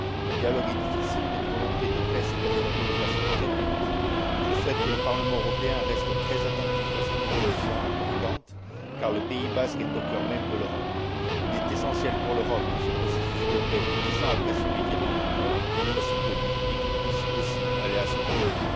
Le dialogue est difficile mais une volonté de paix s'est affirmée de façon très nette. Je souhaite que le Parlement européen reste très attentif à cette évolution importante car le pays basque est au cœur même de l'Europe. Il est essentiel pour l'Europe que ce processus de paix, 10 ans après celui d'Irlande du Nord, soit soutenu et qu'il puisse aussi aller à son terme.